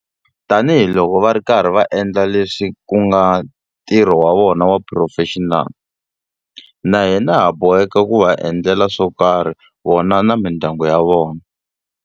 Tanihiloko va ri karhi va endla leswi ku nga ntirho wa vona wa xiphurofexinali, na hina ha boheka ku va endlela swo karhi vona na mindyangu ya vona.